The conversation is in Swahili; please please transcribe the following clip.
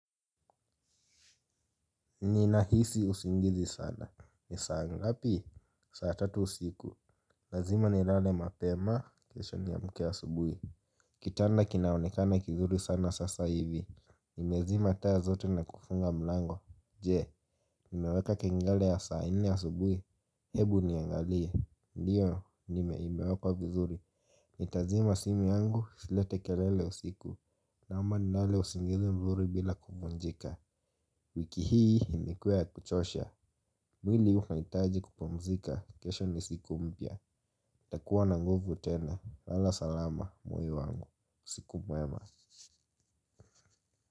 Ninahisi usingizi sana. Ni saa ngapi? Saa tatu usiku. Lazima nilale mapema kesho niamke asubuhi. Kitanda kinaonekana kizuri sana sasa hivi. Nimezima taa zote na kufunga mlango. Je nimeweka kengele ya saa nne asubuhi. Hebu niangalie. Ndiyo nime imewekwa vizuri nitazima simu yangu isilete kelele usiku. Na ama ninalo usingizi mzuri bila kuvunjika. Wiki hii imekuwa ya kuchosha. Mwili unahitaji kupumzika. Kesho ni siku mpya ntakuwa na nguvu tena. Lala salama moyo wangu. Siku mwema.